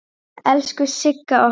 Elsku Sigga okkar.